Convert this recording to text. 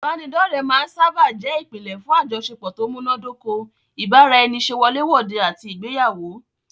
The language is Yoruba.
Ìbánidọ́ọ̀rẹ́ máa n sáábà jẹ́ ìpínlẹ̀ fún àjọṣepọ̀ tó múná dóko, ìbára ẹni ṣe wọlé wòde àti ìgbéyàwó